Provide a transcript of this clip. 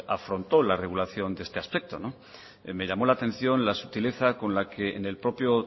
afrontó la regulación de este aspecto me llamó la atención la sutileza con la que en el propio